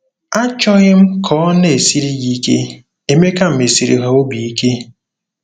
Achọghị m ka ọ na-esiri gị ike ,' Emeka mesiri ha obi ike.